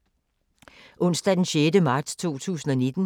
Onsdag d. 6. marts 2019